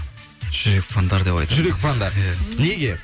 жүрек фандар деп айтамын жүрек фандар иә неге